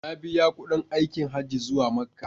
Na biya kuɗin aikin Hajji zuwa Makka.